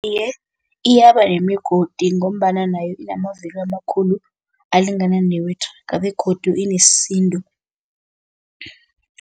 Iye, iyaba nemigodi ngombana nayo inamavilo amakhulu alingana newethraga begodu ineesindo.